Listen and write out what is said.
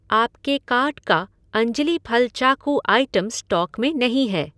आपके कार्ट का अंजली फल चाकू आइटम स्टॉक में नहीं है